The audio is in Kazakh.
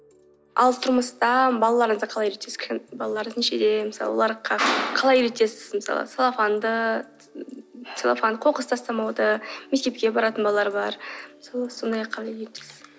ал тұрмыста балаларыңызды қалай үйретесіз балаларыңыз нешеде мысалы оларды қалай үйретесіз мысалы целлофанды қоқыс тастамауды мектепке баратын балалар бар қалай үйретесіз